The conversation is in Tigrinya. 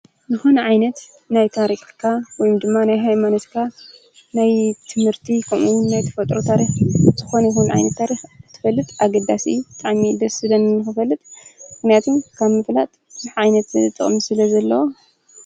ዝኾነ ዓይነት ናይ ታሪኽካ ወይ ድማ ናይ ሃይማኖትካ ናይ ትምህርቲ ከምኡውን ናይ ተፈጥሮ ታሪኽ ዝኾነ ይኹን ዓይነት ታሪኽ ክትፈልጥ ኣገዳሲ እዩ፡፡ ብጣዕሚ እዩ ደስ ዝብለኒ ንኽፈልጥ፡፡ ምኽንያቱም ካብ ምፍላጥ ብዙሕ ዓይነት ጥቕሚ ስለዘለዎ፡፡